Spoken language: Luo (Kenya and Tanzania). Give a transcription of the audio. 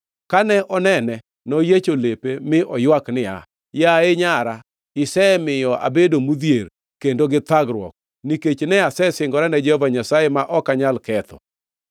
Kane onene, noyiecho lepe mi oywak niya, “Yaye Nyara! Isemiya abedo modhier kendo gi thagruok, nikech ne asesingora ne Jehova Nyasaye ma ok anyal ketho.”